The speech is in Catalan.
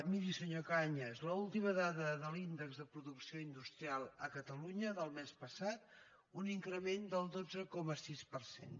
miri senyor cañas l’última dada de l’índex de producció industrial a catalunya del mes passat un increment del dotze coma sis per cent